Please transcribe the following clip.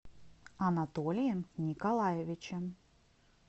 анатолием николаевичем